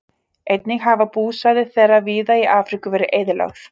Einnig hafa búsvæði þeirra víða í Afríku verið eyðilögð.